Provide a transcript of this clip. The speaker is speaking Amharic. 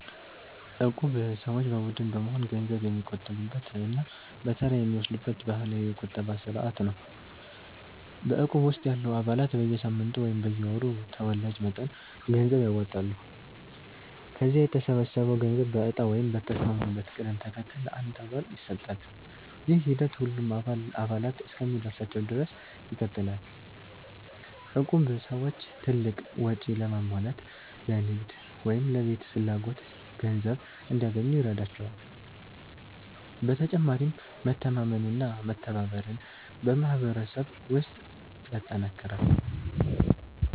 እቁብ ሰዎች በቡድን በመሆን ገንዘብ የሚቆጥቡበት እና በተራ የሚወስዱበት ባህላዊ የቁጠባ ስርዓት ነው። በእቁብ ውስጥ ያሉ አባላት በየሳምንቱ ወይም በየወሩ ተወላጅ መጠን ገንዘብ ያዋጣሉ። ከዚያ የተሰበሰበው ገንዘብ በእጣ ወይም በተስማሙበት ቅደም ተከተል ለአንድ አባል ይሰጣል። ይህ ሂደት ሁሉም አባላት እስኪደርሳቸው ድረስ ይቀጥላል። እቁብ ሰዎች ትልቅ ወጪ ለማሟላት፣ ለንግድ ወይም ለቤት ፍላጎት ገንዘብ እንዲያገኙ ይረዳቸዋል። በተጨማሪም መተማመንና መተባበርን በማህበረሰብ ውስጥ ያጠናክራል።